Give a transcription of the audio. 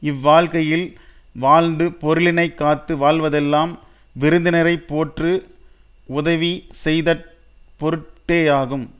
இவ்வாழ்கையில் வாழ்ந்து பொருளினை காத்து வாழ்வதெல்லாம் விருந்தினரை போற்று உதவி செய்தற் பொருட் டேயாகும்